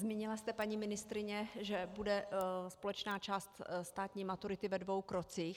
Zmínila jste, paní ministryně, že bude společná část státní maturity ve dvou krocích.